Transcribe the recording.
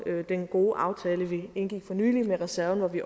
den gode aftale vi indgik for nylig om reserven hvor vi